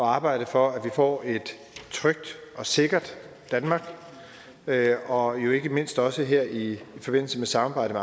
arbejde for at vi får et trygt og sikkert danmark og jo ikke mindst også her i forbindelse med samarbejdet